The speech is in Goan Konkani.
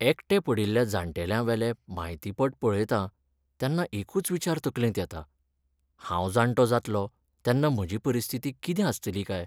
एकटे पडिल्ल्या जाण्टेल्यांवेले म्हायतीपट पळयतां, तेन्ना एकूच विचार तकलेंत येता, हांव जाण्टो जातलों तेन्ना म्हजी परिस्थिती कितें आसतली काय?